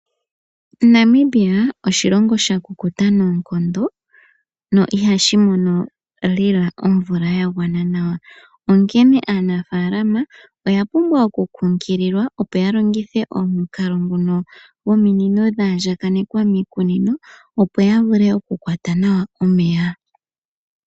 Namibia oshilongo sha kukuta noonkondo no ihashi mono lela omvula ya gwana nawa. Onkene aanafalama oya pumbwa okukunkililwa opo ya longithe omukalo ngono dhominino dha andjakanekwa miikunino, opo ya vule okukwata nawa omeya.